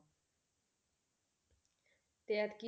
ਤੇ ਐਤਕੀ,